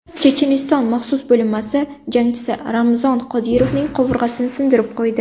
Checheniston maxsus bo‘linmasi jangchisi Ramzon Qodirovning qovurg‘asini sindirib qo‘ydi.